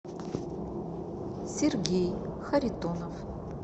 сергей харитонов